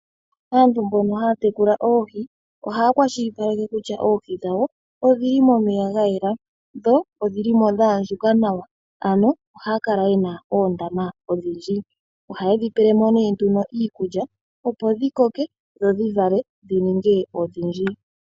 Aantu mbono haya tekula oohi, ohaya kwashilipaleke kutya oohi dhawo odhili momeya ga yela, dho odhili mo dha andjuka nawa ano ohaya kala yena oondama odhindji. Oha yedhi pele mo nee nduno iikulya opo dhi koke, dho dhi vale dhi ninge odhindji.